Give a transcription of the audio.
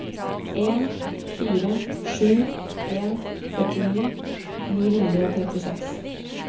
en fire sju en førtini ni hundre og trettiseks